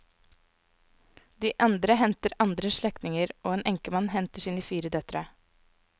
De andre henter andre slektninger, og en enkemann henter sine fire døtre.